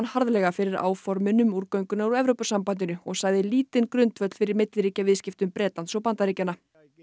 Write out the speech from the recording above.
harðlega fyrir áformin um úrgönguna úr Evrópusambandinu og sagði lítinn grundvöll fyrir milliríkjaviðskiptum Bretlands og Bandaríkjanna